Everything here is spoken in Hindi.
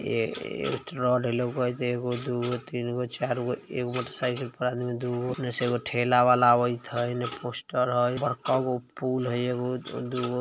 ए-ए एक्स्ट्रा एगो दोगो तीनगो चारगो एगो मोटर साइकिल पर आदमी दोगो ओने एगो ठेला वाला आवैत है एने पोस्टर है बड़का गो पूल हई एगो दुगो ।